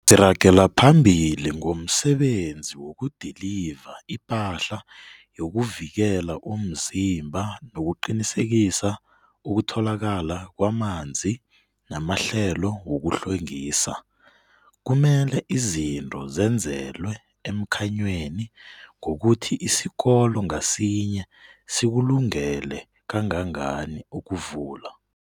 Siragela phambili ngomsebenzi wokudiliva ipahla yokuvikela umzimba nokuqinisekisa ukutholakala kwamanzi namahlelo wokuhlwengisa. Kumele izinto zenzelwe emkhanyweni ngokuthi isikolo ngasinye sikulungele kangangani ukuvula.